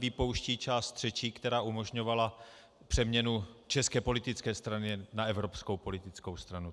Vypouští část třetí, která umožňovala přeměnu české politické strany na evropskou politickou stranu.